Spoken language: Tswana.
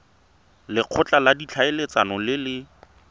lekgotla la ditlhaeletsano le le